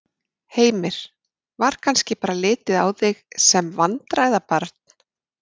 Heimir: Var kannski bara litið á þig sem vandræðabarn?